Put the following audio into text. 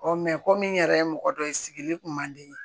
ko min yɛrɛ ye mɔgɔ dɔ ye sigili kun man di n ye